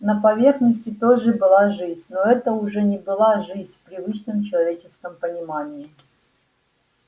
на поверхности тоже была жизнь но это уже не была жизнь в привычном человеческом понимании